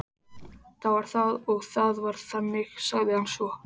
Það var það og það var þannig, sagði hann svo.